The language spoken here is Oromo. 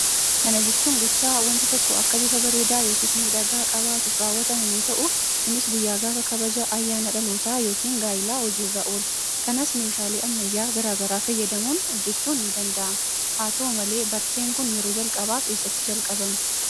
Kana jechuun gochaa wanti tokko akka bifa bareedaa yookiis miidhagaa qabaatuuf raawwatamu yoo ta'u kunis guyyaa gaafa kabaja ayyaana dhalootaa yookiin gaa'ilaa hojiirra oola. Kanas meeshaalee ammayyaa garaa garaa fayyadamuun hojjechuun ni danda'ama. Haa ta'u malee barteen kun yeroo jalqabaaf eessatti jalqabame?